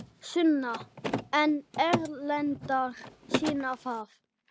Sunna: En erlendar sýna það?